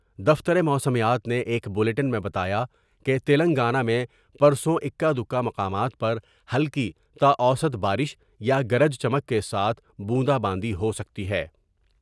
دفتر موسمیات نے ایک بلیٹن میں بتایا کہ تلنگانہ میں پرسوں اکا دکا مقامات پر ہلکی تا اوسط بارش یا گرج چمک کے ساتھ بوندا باندی ہوسکتی ہے ۔